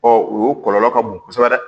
o kɔlɔlɔ ka bon kosɛbɛ dɛ